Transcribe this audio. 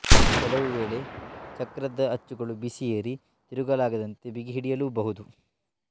ಕೆಲವು ವೇಳೆ ಚಕ್ರದ ಅಚ್ಚುಗಳು ಬಿಸಿ ಏರಿ ತಿರುಗಲಾಗದಂತೆ ಬಿಗಿಹಿಡಿಯಲೂಬಹುದು